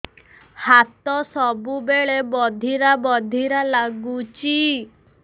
ହାତ ସବୁବେଳେ ବଧିରା ବଧିରା ଲାଗୁଚି